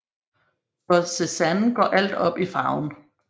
For Cézanne går alt op i farven